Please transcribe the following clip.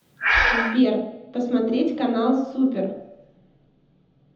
сбер посмотреть канал супер